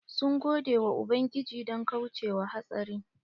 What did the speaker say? Sun gode wa ubangiji don kauce wa hatsarin.